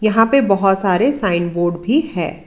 यहां पे बहुत सारे साइन बोर्ड भी है।